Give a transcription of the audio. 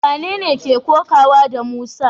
Wanene ke kokawa da Musa?